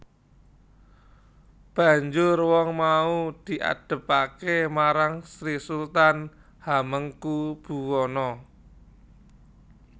Banjur wong mau diadhepaké marang Sri Sultan Hamengkubuwana